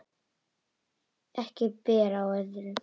Ekki ber á öðru